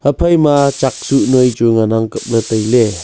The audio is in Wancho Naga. haphai ma chak chuh noi chu ngan ang kap ley tai ley.